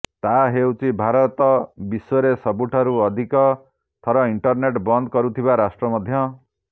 ତାହା ହେଉଛି ଭାରତ ବିଶ୍ବରେ ସବୁଠାରୁ ଅଧିକ ଥର ଇଣ୍ଟରନେଟ୍ ବନ୍ଦ କରୁଥିବା ରାଷ୍ଟ୍ର ମଧ୍ୟ